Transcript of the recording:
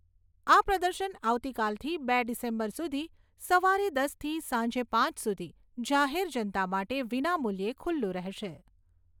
આ પ્રદર્શન આવતીકાલથી બે ડિસેમ્બર સુધી સવારે દસ થી સાંજે પાંચ સુધી જાહેર જનતા માટે વિનામુલ્યે ખૂલ્લુ રહેશે.